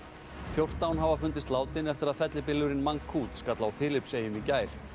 fjórtán hafa fundist látin eftir að fellibylurinn skall á Filippseyjum í gær